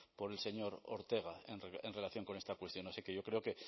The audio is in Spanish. por el señor ortega en relación con esta cuestión así que yo creo que